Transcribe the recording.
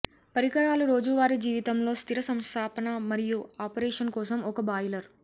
పరికరాలు రోజువారీ జీవితంలో స్థిర సంస్థాపన మరియు ఆపరేషన్ కోసం ఒక బాయిలర్